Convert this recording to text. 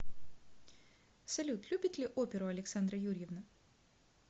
салют любит ли оперу александра юрьевна